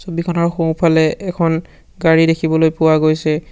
ছবিখনৰ সোঁফালে এখন গাড়ী দেখিবলৈ পোৱা গৈছে।